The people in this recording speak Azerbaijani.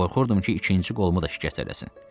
Qorxurdum ki, ikinci qolumu da şikəst eləsin.